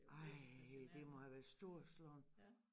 Ej det må have været storslået